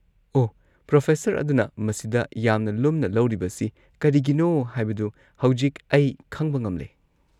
ꯑꯣꯍ, professor ꯑꯗꯨꯅ ꯃꯁꯤꯗ ꯌꯥꯝꯅ ꯂꯨꯝꯅ ꯂꯧꯔꯤꯕꯁꯤ ꯀꯔꯤꯒꯤꯅꯣ ꯍꯥꯏꯕꯗꯨ ꯍꯧꯖꯤꯛ ꯑꯩ ꯈꯪꯕ ꯉꯝꯂꯦ꯫